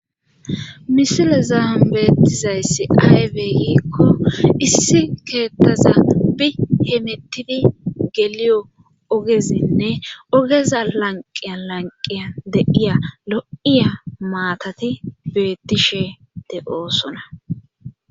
Misilezan beetizassi aybe giikko issi keettaza bi hemettidi goliyo ogezinne ogeza lanqqiyan lanqqiyan de7iya lo7iya maatati beettishe de7oosona.